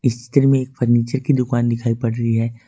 इस में एक फर्नीचर की दुकान दिखाई पड़ रही है।